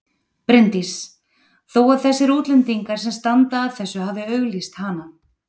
Bryndís: Þó að þessir útlendingar sem standa að þessu hafi auglýst hana?